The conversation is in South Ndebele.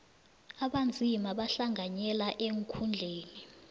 abanzima bahlanganyele eenkhundleni